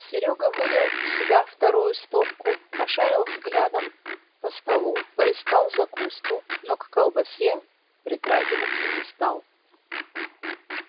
серёга вылил в себя вторую стопку пошарил взглядом по столу поискал закуску но к колбасе притрагиваться не стал